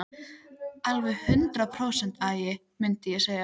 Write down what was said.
Alveg hundrað prósent agi, mundi ég segja.